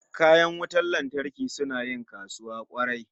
Kayan wutan lantarki suna yin kasuwa kwarai